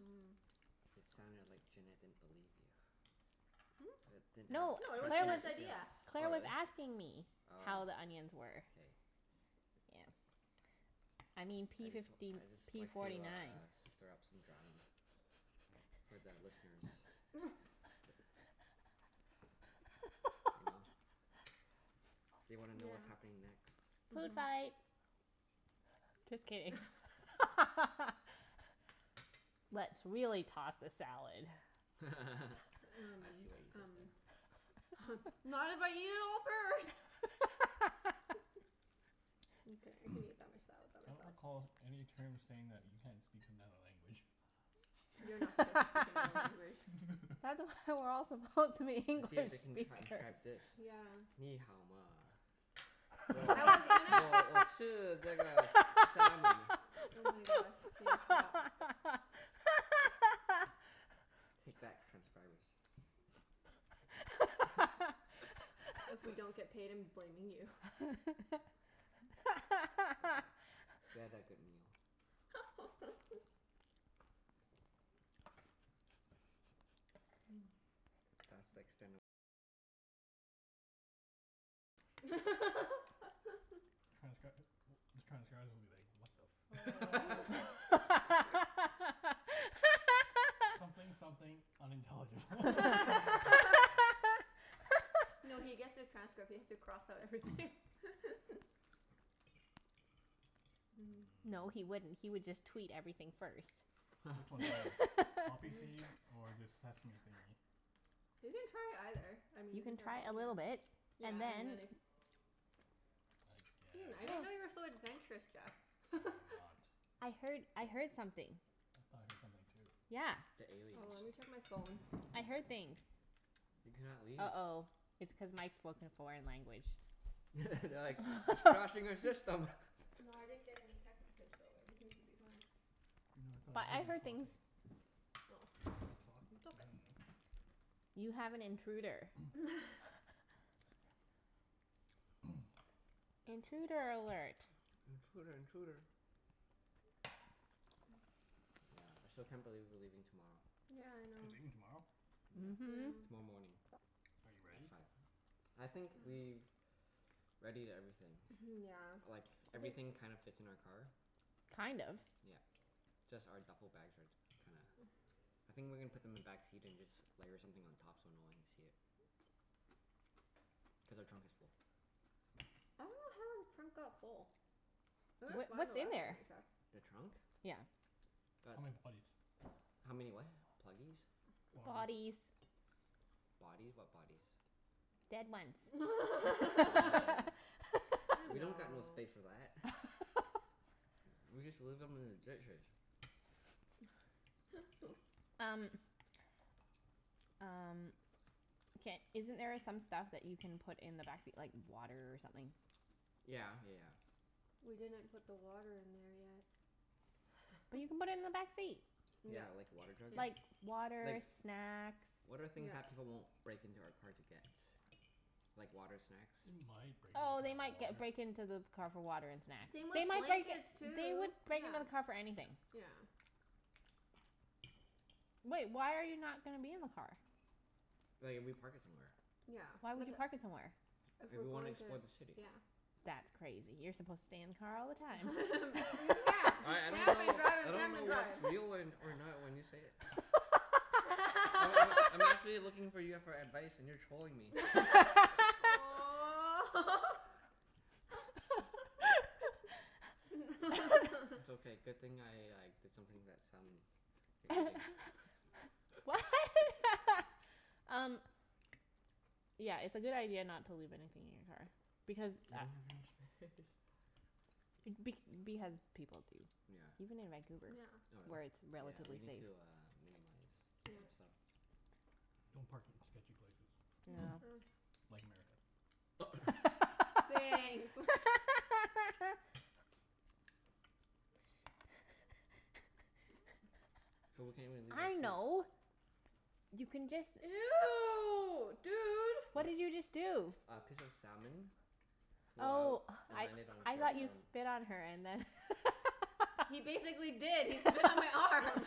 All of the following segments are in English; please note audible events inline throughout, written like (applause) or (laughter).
Mmm. It sounded like Junette didn't believe you. That didn't Hmm? have No, No, it was trust Claire in your was, Junette's idea. skills. Claire Oh was really? asking me Oh. how the onions were. K. Yeah. I mean I p just (noise) w- fifty I just p like to forty nine. uh stir up some drama. For the listeners. (noise) You know? (laughs) They wanna know Yeah. what's happening next. Food Mhm. fight. (noise) Just kidding. (laughs) Let's really toss the salad. (laughs) I Um see what you did um there. (laughs) (laughs) Not if I eat it all first. (laughs) (laughs) Mkay, (noise) I can eat that much salad I by don't myself. recall any terms saying that you can't speak another language. You're not (laughs) supposed to speak another language. (laughs) That's why we're all supposed to be English See if they can transcribe speakers. this. Nǐ hǎo ma? I was (laughs) gonna (inaudible) salmon. Oh my gosh, K, stop. Take that, (laughs) transcribers. If we (laughs) don't get (laughs) paid I'm blaming you. It's okay. (laughs) We had that good meal. (laughs) (noise) (noise) Mmm. (laughs) Transcr- these transcribers will (noise) be like, "What the (laughs) fuck?" (laughs) "Something something, unintelligible." (laughs) (laughs) (laughs) No, he gets the transcript. He has to cross out everything. (noise) (laughs) (noise) Mmm. No, he Mmm. wouldn't. He would just tweet everything first. (noise) Which one's better? Poppy (laughs) Mm. seed or this sesame thingie? You can try either. I mean You you can can try try a both, little bit yeah and and then then if (noise) I Hmm, I didn't know guess. you were (noise) so adventurous, I Jeff. am (laughs) not. I heard I heard something. I thought I heard something too. Yeah. The Oh, let aliens. me check my phone. I heard things. You cannot leave. uh-oh, it's cuz Mike spoke in a foreign language. (laughs) They're like, "He's crashing (laughs) our system." No, I didn't get any text message so everything should be fine. No, I thought I But heard I him heard talking. things. Oh. Hear the talking? I dunno. You have an intruder. (noise) (laughs) (noise) Intruder alert. Intruder intruder. (noise) (noise) Yeah, I still can't believe we're leaving tomorrow. Yeah, I You're know. leaving tomorrow? Yeah. Mhm. Yeah. Tomorrow morning. (noise) Are you At ready? five. I think (noise) we've readied everything. Mhm, yeah. Like, (noise) everything kind of fits in our car. Kind of? Yeah. Just our duffle bags are t- kinda, (noise) I think we're gonna put them in the backseat and just layer something on top so no one can see it. Cuz our trunk is full. I dunno how our trunk got full. (noise) (noise) It looked Wha- fine the what's in last time there? I checked. The trunk? Yeah. Got How many bodies? How many what? Pluggies? (noise) Body Bodies. Bodies? What bodies? Dead ones. (noise) (laughs) You Oh. We know. don't got no (laughs) space for that. (laughs) We just leave them in the ditches. (laughs) Um (noise) Um, ca- isn't there some stuff that you can put in the backseat, like water or something? Yeah yeah yeah. We didn't put the water in there yet. (noise) But you can put it in the (laughs) backseat. Yeah. Yeah, like a water jug? Yeah. Like water, Like, snacks. (noise) what are things They Yeah. that people won't might break into our car to break get? into Like your water, snacks? car Oh for they might ge- break water. into the car for water and snacks. Same with They might break, blankets, they would too. break Yeah. into the car for anything. Yeah. (noise) (noise) Wait, why are you not gonna be in the car? Like if we park it somewhere. Yeah, Why would like you park it somewhere? If If we're we wanna going to, explore the city. yeah. (noise) That's crazy. You're supposed to stay in the car all the (laughs) time. Yeah. Just I I don't camp and know drive I and don't camp know and drive. what's real or (laughs) or not when you say it. Oh I I'm (laughs) actually (laughs) looking for you for advice and you're trolling (noise) me. (laughs) (laughs) Aw. (laughs) It's (laughs) okay. Good thing I like did something to that salmon you're eating. (laughs) What? Um Yeah, it's a good idea not to leave anything in your car. Because We a- don't have enough space. Be- because people do, (noise) Yeah. even in Vancouver, (noise) Yeah. Oh where really? it's Yeah, we relatively need safe. to uh minimize some Yeah. stuff. Don't park in sketchy places Yeah. (noise) (noise) like America. (noise) Thanks. (laughs) (noise) (noise) So we can't even (laughs) leave our I food. know You (noise) can (noise) just Ew, dude. What? What did you just do? A piece of salmon flew out Oh, (noise) and I landed on I Claire's thought you arm. spit on her and then (noise) (laughs) He basically did. He spit on my arm.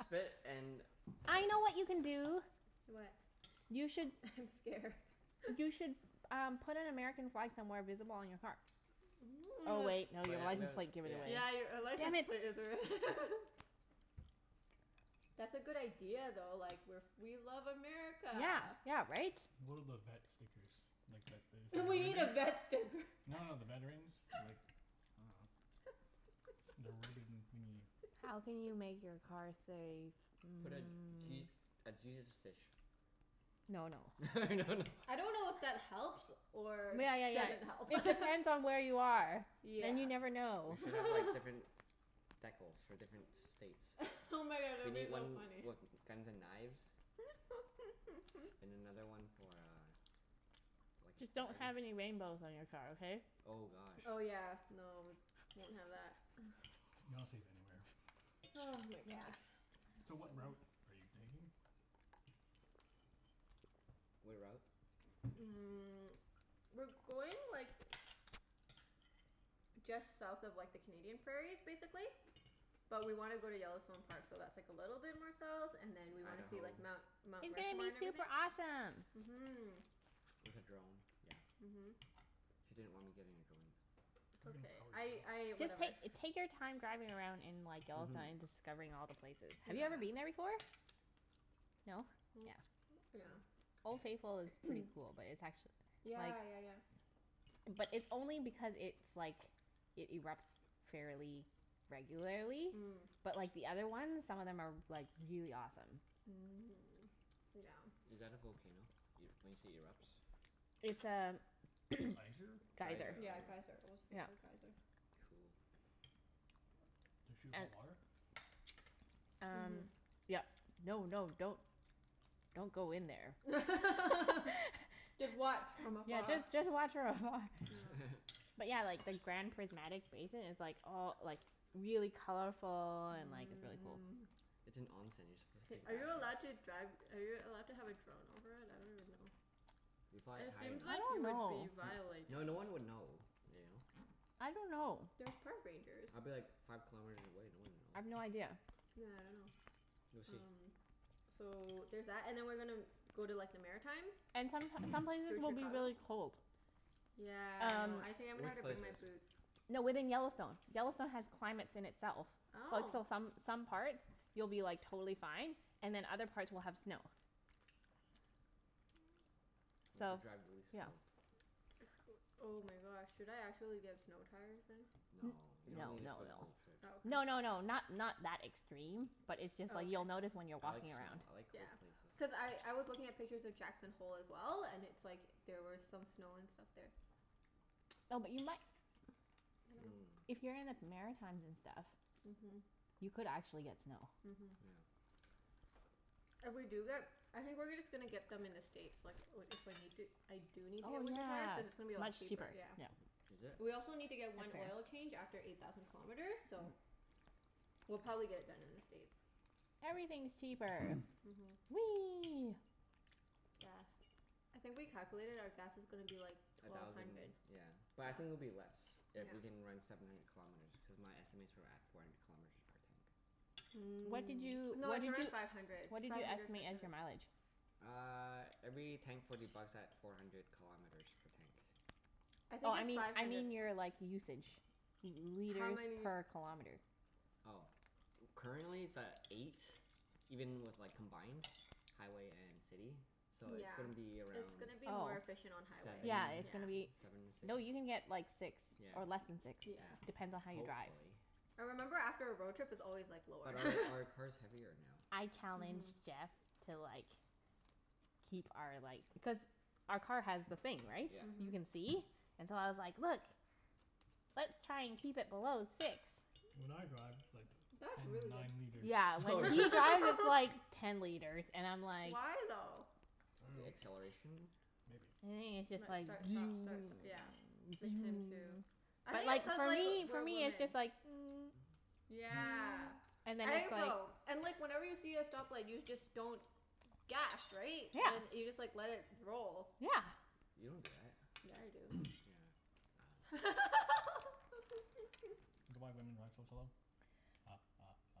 Spit and I know what you can do. What? You should I'm scared. You (laughs) should um put an American flag somewhere visible on your car. Oh (noise) wait, no. Your But th- license we plate give it Yeah. away. Yeah, you're ri- a Damn license it. plate is re- (laughs) That's a good idea though. Like we're f- we (noise) love America. Yeah, yeah right? One of those vet stickers. Like that We need a vet sticker. (inaudible) No, no, the veterans. (noise) Like, I dunno. The ribbon thingie. How can you make (laughs) your car say (noise) Put a mm Je- a Jesus fish. No no. (noise) (laughs) No no. I don't know if that helps or Yeah, yeah, doesn't help. (laughs) yeah. It depends on where you are. And you Yeah. never We know. should have like (laughs) different decals for different states. (laughs) Oh my god, that We would be need though one funny. with guns and knives. And (laughs) another one for uh like (noise) a Just don't flag. have any rainbows on your car, okay? Oh gosh. Oh yeah, no, won't have (noise) that. (noise) You're not safe anywhere. (laughs) Ah, my god. So what route (inaudible) are you taking? What route? Mm, (noise) (noise) we're going like just south of like the Canadian prairies, basically. But we want to go to Yellowstone Park, so that's like a little bit more south, and then we want to see Idaho. like Mount (noise) Mount It's gonna Rushmore be and everything. super awesome. Mhm. With a drone? Yeah. Mhm. (noise) She didn't want me getting a drone. It's okay. I I, (inaudible) Just whatever. take take your time driving around in like Yellowstone Mhm. and discovering all the places. Have you ever been Yeah. there before? Yeah. No? (noise) (noise) Yeah. Yeah. Mm. Old Faithful is pretty (noise) cool, but it's actu- (noise) like Yeah, yeah, yeah. But it's only because it's like, it erupts fairly regularly. Mm. But like the other ones, some of them are like really awesome. (noise) Is that a volcano? Y- when you say erupts? It's a (noise) Geyser? (noise) geyser. Geyser. Oh. Yeah, geyser. Old Yeah. Faithful geyser. Cool. (noise) Does (noise) shoot hot And water? Um Mhm. yep. No, no, don't don't go in (noise) (noise) there. (laughs) (laughs) Just watch from Yeah, afar. just just watch from afar. Yeah. (laughs) But yeah, like the Grand Prismatic Basin is like all like really colorful and like really cool. Mmm. It's an. (inaudible) You're supposed to Hey, take are you a allowed bath in it. to drive, are you allowed to have a (noise) drone over it? I don't even know. If you fly it It high seems enough. I like don't you N- would know. be violating. no, no one would know, you know? I don't know. There's park rangers. I'd be like five kilometers away. No one (noise) I've no would know. idea. Yeah, I dunno. We'll see. Um so there's that. And then we're gonna go to like the Maritimes. And some (noise) some places Through will be Chicago. really cold. Yeah, I Um know. (noise) I think I'm gonna Which have to bring my places? boots. No, within Yellowstone. Yellowstone has (noise) climates in itself. Like Oh. so some some parts you'll be like totally fine and then other parts will have snow. (noise) We'll have So, to drive really yeah. slow. (noise) Oh my gosh, should I actually get snow tires then? N- (noise) No. You don't no need it no for the no. whole trip. (noise) Oh, No, okay. no, no, not not that extreme. But it's just Oh, like okay. you'll notice when you're I like walking snow. around. I like Yeah. cold places. Cuz I I was looking at pictures of Jackson Hole as well, and it's like there were some snow and stuff there. No, but you (noise) mi- Mmm. if you're in the Maritimes and stuff (noise) Mhm. You could actually get snow. Mhm. Yeah. If we do get, I think we're gonna just gonna get them in the States like i- if we need to, I (noise) do need to Oh get winter tires. Cuz it's gonna be a yeah, lot much cheaper. cheaper. Yeah. Yep. Is it? We also need to That's get one oil fair. change after eight thousand kilometers, so We'll probably get it done in the States. Everything's (noise) cheaper. (noise) Mhm. Whee! Gas. I think we calculated our gas (noise) is gonna (noise) be like A twelve thousand, hundred. yeah. But I think it'll be less Yeah. if we can run seven hundred kilometers, because my estimates were at four hundred (noise) kilometers per tank. What did Mm. you No, what did it's around you five hundred. what did Five you hundred (inaudible) estimate as your mileage? Uh every tank forty bucks at four hundred kilometers per tank. (noise) I Oh think I it's mean five I hundred. mean your like usage. L- How liters many per kilometer. Oh. Currently it's at eight, even with like combined, highway and city. (noise) (noise) So it's Yeah. gonna be It's around gonna be Oh. more efficient on seven? highway. Yeah, it's Yeah. gonna be, Seven m- six. no, you can get like six, Yeah, or less than six. Yeah. yeah. Depends on how you drive. Hopefully. I remember after a road trip it's (noise) always like lower. But our our (laughs) car's heavier now. I Mhm. challenged Jeff to like keep our like, cuz our car has the thing, (noise) right? Yeah. You Mhm. can see. And so I was like, "Look, let's try and keep it below six." (noise) When I drive it's like That's really ten good. nine liters. Yeah, Oh, when really? he drives it's like (laughs) ten liters and I'm like Why, though? The acceleration? I Maybe it's just Like dunno. like. (noise) start, stop, start, st- Maybe. yeah. (inaudible) him too. (noise) (noise) I But think it's like cuz for like, me for we're me it's just women. like (noise) (noise) Yeah. (noise) and then I it's think like so. And like whenever you see a stoplight you just don't gas, right? And then Yeah. you just like let it (noise) roll. Yeah. You don't do that. Yeah, I do. Yeah, (noise) I dunno. (laughs) Is that why women drive so slow? Ha ha ha.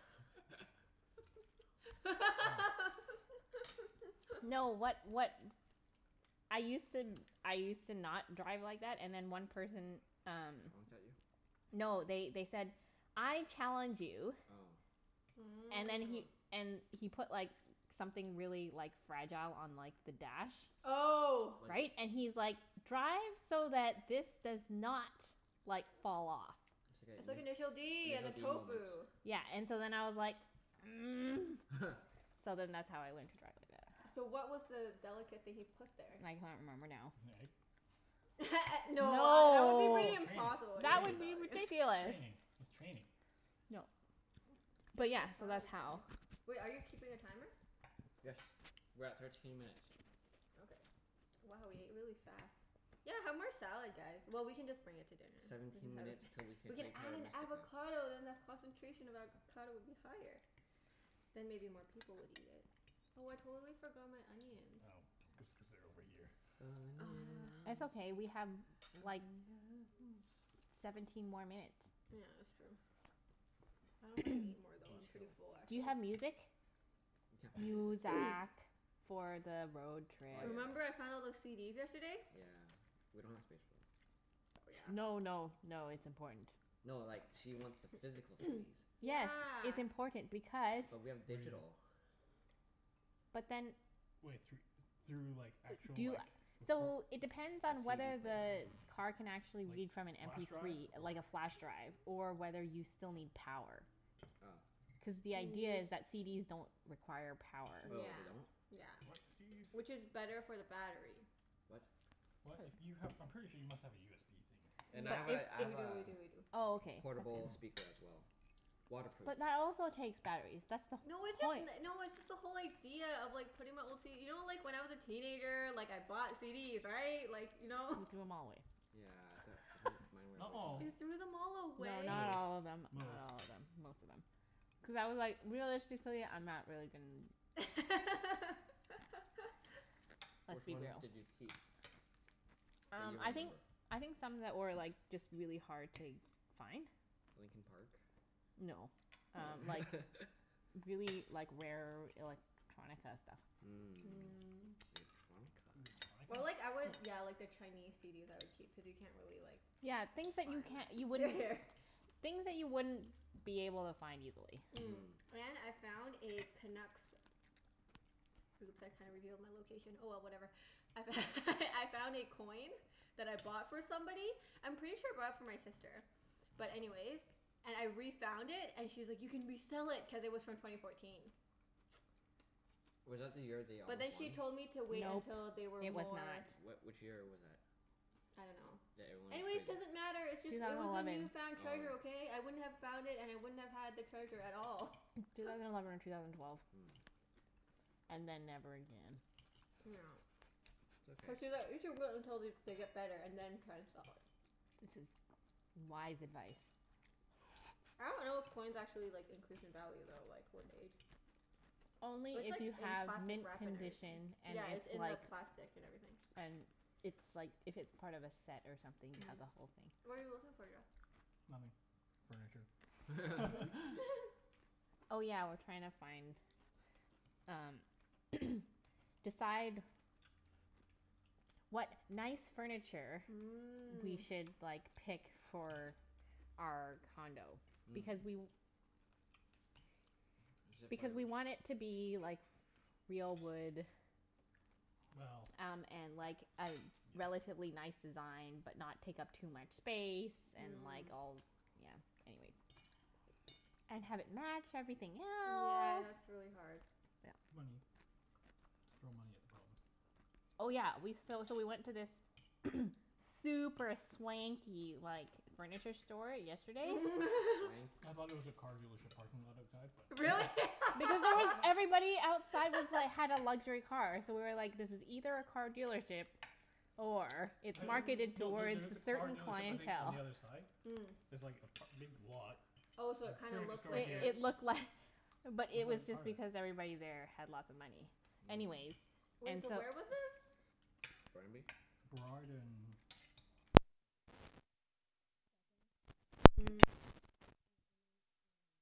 (noise) No, what (laughs) what I used to, I used to not drive like Oh. that, and then one person um Honked at you? No, they they said "I challenge you" Oh. (noise) and then he, Mmm. and he put like something really like fragile on like the dash. (noise) Oh. Like Right? And he's like, "Drive so that this does not like fall off." (noise) I said initial d and the (inaudible) D moment. tofu. Yeah, and so then I was like (noise) (laughs) So then that's how I learned to drive like that. So what was the delicate thing he put there? I can't remember now. An egg? (laughs) (laughs) No, that would be No. pretty It's just impossible. That would training. be Training. (inaudible) ridiculous. Training. It's training. (noise) No. But Eat more yeah, so that's salad how guys. Wait, are you keeping a timer? Yes. We're at thirteen minutes. Okay. Wow, we ate (noise) really fast. (noise) (noise) Yeah, have more salad guys. Well, we can just bring it to dinner. We can Seventeen have a s- minutes til we can we can play add Terra an Mystica. avocado then the concentration of avocado would be higher. (noise) I Then maybe more people would eat it. Oh, I totally forgot my (noise) onions. know. Just cuz they're over here. (noise) It's Onions. okay, we have like Onions. seventeen Oh, more yes. minutes. Yeah, that's true. I dunno if I can eat (noise) more, We though. can I'm pretty chill. full, Do you actually. have music? We can't play (noise) music. (noise) Muzak. For the road trip. Oh Remember yeah. I found all those CDs yesterday? Yeah. We don't have space for them. Oh, yeah. No, no, no, it's important. (noise) No, like she wants the physical (noise) CDs. Yes. Yeah. It's important because But we have digital. (inaudible) But then Wai- thr- through like actual Do you, like recor- so it depends A on CD whether player. the car can actually Like, read from an m flash p drive three, or like a flash drive Or whether you still need power. Oh. Cuz the idea is (noise) that CDs don't require power. Oh, Yeah. they don't? Yeah. What CDs? Which is better for the battery. What? What? If you have, I'm pretty sure you must have a USB thing. And Yeah. I have a I We have do, a we do, we do. Oh, All okay. right. portable That's good. speaker as (noise) well. Waterproof. But that also takes batteries. That's the No, it's just point. n- no, it's just the whole idea of like putting my old CD, you know like when I was a teenager, like I bought CDs, right? Like, you know? He threw them all away. Yeah d- (noise) mine (noise) were a Not all. You waste of money. threw them all No, away? not Most. all of them. Not Most. all of them. Most of them. Cuz I was like, realistically I'm not really gon- (laughs) (noise) Let's Which be ones real. did you keep? (noise) That you Um I think, remember? I think some that were like just really hard to find. Linkin Park? No, um like (laughs) really, like rare electronica stuff. Mm Mm. electronica. (noise) Electronica? Or (noise) like I would yeah, like the Chinese CDs I would keep, cuz you can't really like Yeah, things that find you can't, you them. Yeah, wouldn't yeah. (noise) Things that you wouldn't be able to find easily. Mm, Mhm. and I found a Canucks, oops I kinda revealed my location. Oh well, (noise) whatever. I f- (laughs) I found a coin that I bought for somebody. I'm pretty sure I bought it for my sister. But anyways, and I refound it and she was like, "You can resell it." Cuz it was from twenty fourteen. (noise) (noise) Was that the year they But almost then she won? told me to wait Nope. until they were It was more not. What, which year was that? I don't know. That everyone is thinking? Anyways, doesn't matter. It's just, Two it thousand was a eleven. newfound treasure, Oh. okay? I wouldn't have found it and (noise) I wouldn't have had the treasure at all. Two (laughs) thousand eleven or two thousand twelve. (noise) Mm. And then never again. (noise) (noise) (laughs) (inaudible) (noise) It's okay. we should wait until they they get better and then try to sell it. This is wise advice. I don't know if coins actually (laughs) like (noise) increase in value though, like with age. Only It's if like you in have plastic mint wrap and everything. condition and Yeah, it's it's in like the plastic and everything. and it's like, if it's part of a set or something, you (noise) have the (noise) whole thing. What are you looking for, Jeff? (noise) Nothing. (noise) Furniture. (laughs) (laughs) Mhm. (laughs) (noise) Oh yeah, we're trying to find um (noise) decide what nice furniture we Mm. should like pick for our condo. (noise) Hmm. Because we (noise) Is it for because we want it to be like real wood Well. Yeah. um and like a relatively nice design, but not take up too much space. And Mm. like all, yeah. Anyways. (noise) And have it match everything Yeah, else. that's really hard. (noise) Money. (noise) Just throw money at the problem. Oh yeah, we, so so we went to this (noise) super swanky like furniture store yesterday. Swanky. (laughs) (noise) I thought it was a car dealership parking lot outside, but no. Really? (laughs) Because it was, (inaudible) everybody outside was like, had a luxury car, so we were like, this is either a car dealership or it's (laughs) marketed Mm. No, there towards there is a a car certain dealership, I think, on clientele. the other side. Mm. There's like a p- a big lot. Oh, so it kinda Furniture looked store It like it here. was it looked Looked like, but it was like part just of it. because everybody (noise) there had lots of money. Anyways, Mm. Wait, and so so where was this? Burnaby? Burrard and like Vancouver. Second. Yeah, Kits. Mm. Uh and then, um